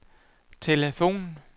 telefon